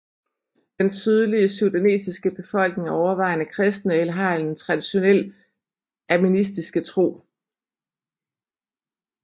Den sydlige sudanesiske befolkning er overvejende kristne eller har en traditionel animistiske tro